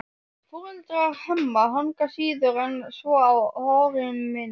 Foreldrar Hemma hanga síður en svo á horriminni.